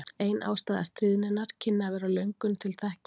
Ein ástæða stríðninnar kynni að vera löngun til þekkingar.